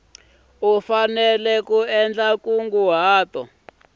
u endla nkunguhato u nga